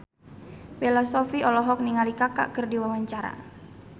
Bella Shofie olohok ningali Kaka keur diwawancara